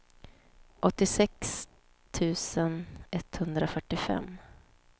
åttiosex tusen etthundrafyrtiofem